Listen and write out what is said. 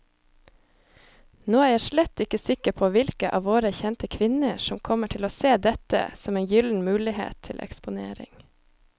Nå er jeg slett ikke sikker på hvilke av våre kjente kvinner som kommer til å se dette som en gyllen mulighet til eksponering.